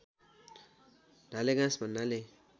डालेघाँस भन्नाले